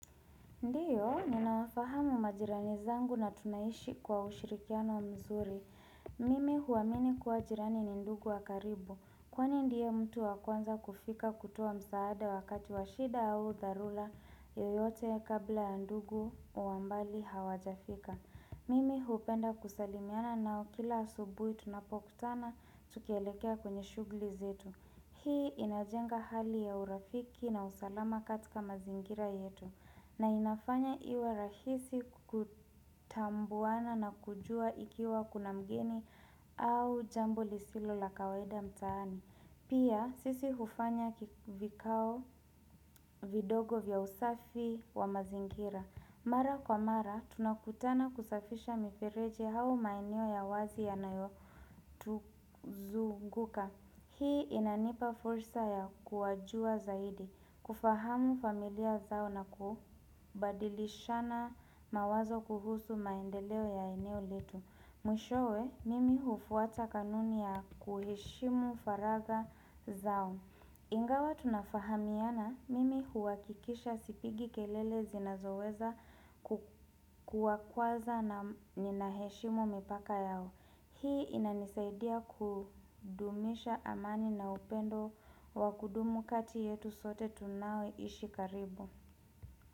Ndiyo, ninawafahamu majirani zangu na tunaishi kwa ushirikiano mzuri. Mimi huamini kuwa jirani ni ndugu wakaribu. Kwani ndiye mtu wakwanza kufika kutoa msaada wakati washida au dharura yoyote kabla ya ndugu wambali hawajafika. Mimi hupenda kusalimiana naokila asubuhi tunapokutana tukielekea kwenye shughuli zetu. Hii inajenga hali ya urafiki na usalama katika mazingira yetu. Na inafanya iwe rahisi kutambuana na kujua ikiwa kuna mgeni au jambo lisilo la kawaida mtaani. Pia sisi hufanya vikao vidogo vya usafi wa mazingira. Mara kwa mara tunakutana kusafisha mifereji au maeneo ya wazi yanayo tuzuguka. Hii inanipa fursa ya kuwajua zaidi, kufahamu familia zao na kubadilishana mawazo kuhusu maendeleo ya eneo letu. Mwishowe, mimi hufuata kanuni ya kuheshimu faraga zao. Ingawa tunafahamiana, mimi huhakikisha sipigi kelele zinazoweza kuwakwaza na ninaheshimu mipaka yao. Hii inanisaidia kudumisha amani na upendo wakudumu kati yetu sote tunaoishi karibu.